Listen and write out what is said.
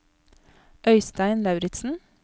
Øystein Lauritzen